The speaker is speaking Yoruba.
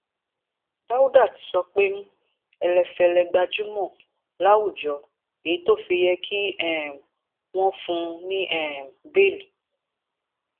dáúdà ti sọ pé ẹlẹfẹlẹ gbajúmọ láwùjọ èyí tó fi yẹ kí um wọn fún un ní um bẹẹlí